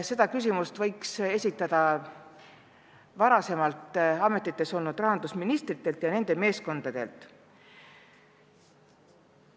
Seda võiks küsida varasematelt rahandusministritelt ja nende meeskondadelt.